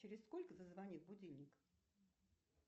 через сколько зазвонит будильник